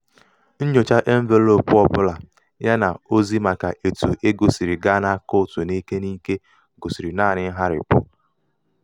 nnyòcha envelōōpù ọbụ̄là ya nà ozi màkà etu egō sìrì gaa n’àkaụ̀ǹtụ̀ n’ike n’ike gòsìrì naānị̄ ṅgharị̀pụ